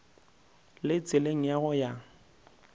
le tseleng ya go ya